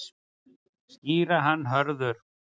Skýra hann Hörður.